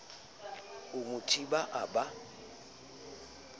a mo thiba a ba